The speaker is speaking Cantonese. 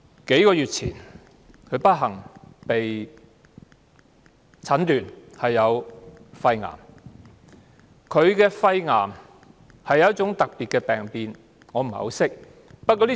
數月前，蘇太不幸被診斷患上肺癌。她的肺癌源於一種特別的病變，我也不太認識。